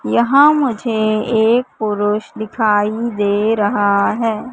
वहां मुझे एक पुरुष दिखाई दे रहा है।